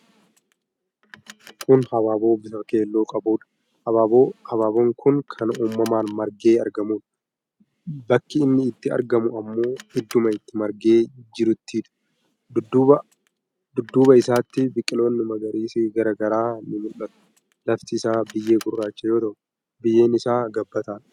Kuni habaaboo bifa keelloo qabuudha. Habaaboon kun kan uumamaan margee argamuudha. Bakki inni itti argamu ammoo idduma itti margee jiruttiidha. Dudduuba isaatti biqiloonni magariisi garaa garaa nii mul'atu. Lafti isaa biyyee gurraacha yoo ta'u, biyyeen isaa gabbataadha.